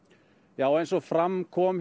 já eins og fram kom